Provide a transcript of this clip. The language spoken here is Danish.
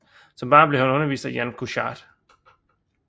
Som barn blev han undervist af Jan Kuchař